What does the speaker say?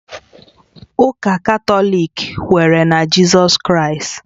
Ụka Katọlik kwere na Jizọs Kraịst